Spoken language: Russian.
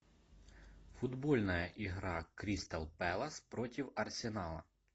футбольная игра кристал пэлас против арсенала